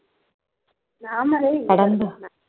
நாம்மளே